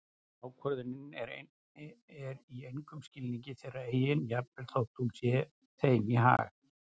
Ákvörðunin er í engum skilningi þeirra eigin jafnvel þótt hún sé þeim í hag.